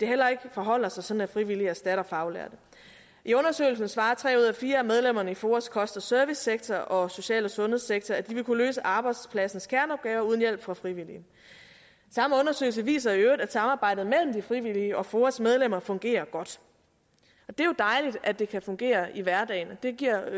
heller ikke forholder sig sådan at frivillige erstatter faglærte i undersøgelsen svarer tre ud af fire af medlemmerne i foas kost og servicesektor og social og sundhedssektor at de vil kunne løse arbejdspladsens kerneopgave uden hjælp fra frivillige samme undersøgelse viser i øvrigt at samarbejdet mellem de frivillige og foas medlemmer fungerer godt det er jo dejligt at det kan fungere i hverdagen og det giver